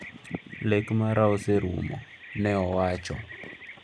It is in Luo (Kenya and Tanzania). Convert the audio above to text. "Lek mara oserumo," ne owacho.